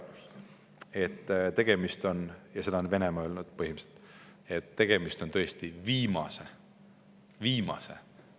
Seda on ju põhimõtteliselt ka Venemaa öelnud, et tegemist on tõesti viimase – viimase!